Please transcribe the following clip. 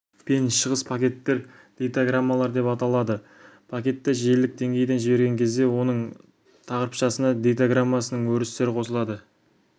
пен шығыс пакеттер дейтаграммалар деп аталады пакетті желілік деңгейден жіберген кезде оның тақырыпшасына дейтаграммасының өрістері қосылады